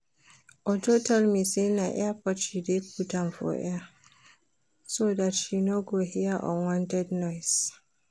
Uju tell me say na ear pod she dey put for ear so dat she no go hear unwanted noise